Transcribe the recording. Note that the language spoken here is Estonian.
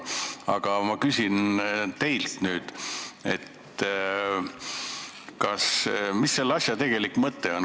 Aga ma küsin nüüd teilt, mis selle asja tegelik mõte on.